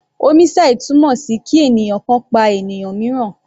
Homicide túmọ̀ sí kí ènìyàn kan pa ènìyàn míìràn.